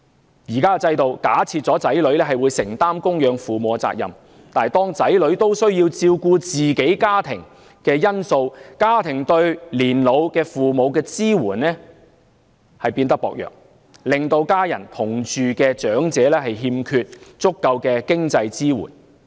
現時的制度假設了子女會承擔供養父母的責任，但由於子女亦需要照顧自己的家庭，以致家庭對年老父母的支援變得薄弱，令與家人同住的長者欠缺足夠的經濟支援。